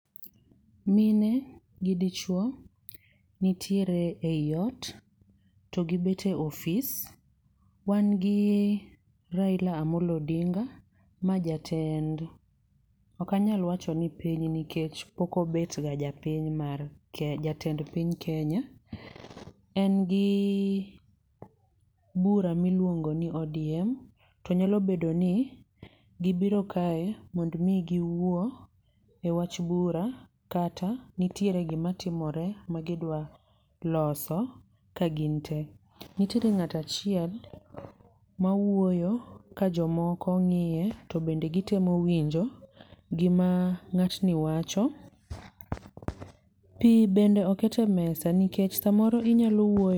Mine gi dichwo nitiere ei ot, to gibet e office. Wan gi Raila Amollo Odinga ma jatend, okanyal wacho ni piny nikech pok obet ga japiny mar jatend piny Kenya. En gi bura miluongo ni ODM, to nyalo bedo ni gibiro kae mond mi gi wuo e wach bura kata nitiere gima timore ma gidwa loso ka gintee. Nitiere ng'ato achiel ma wuoyo ka jomoko ng'iye to bende gitemo winjo gima ng'atni wacho. Pi bende oket e mesa, nikech samoro inyalo wuoyo.